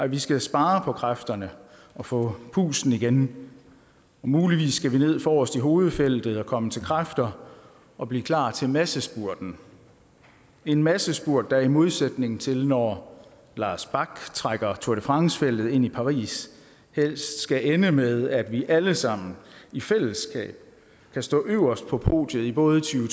vi skal spare på kræfterne og få pusten igen og muligvis skal vi ned forrest i hovedfeltet og komme til kræfter og blive klar til massespurten en massespurt der i modsætning til når lars bak trækker tour de france feltet ind i paris helst skal ende med at vi alle sammen i fællesskab kan stå øverst på podiet i både to